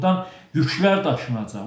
Burdan yüklər daşınacaq.